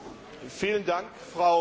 Frau Präsidentin!